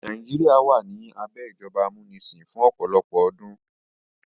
Nàìjíríà wà ní abẹ́ ìjọba amúnisìn fún ọ̀pọ̀lọpọ̀ ọdún.